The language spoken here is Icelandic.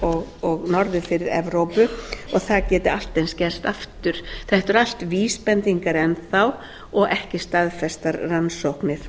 íshaf og norður fyrir evrópu og það geti allt eins gerst aftur þetta eru allt vísbendingar enn þá og ekki staðfestar rannsóknir